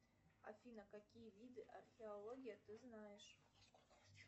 афина какие виды археологии ты знаешь